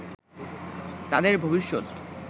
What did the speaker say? তাদের ভবিষ্যৎ